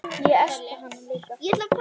Ég espa hana líka.